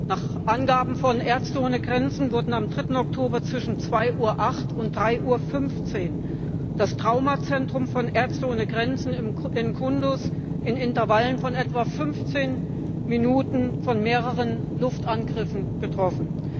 Nach Angaben von Ärzte ohne Grenzen wurde am 3. Oktober zwischen 2.08 Uhr und 3.15 Uhr das Traumazentrum von Ärzte ohne Grenzen in Kundus in Intervallen von etwa fünfzehn Minuten von mehreren Luftangriffen getroffen.